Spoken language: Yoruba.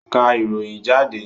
Ká ìròyìn jáde!